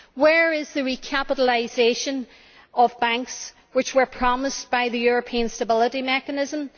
Where is the recapitalisation of banks which was promised by the European Stability Mechanism?